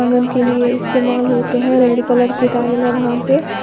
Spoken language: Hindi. के लिए इस्तेमाल होते हैं रेड कलर की टाइल है वहां पे।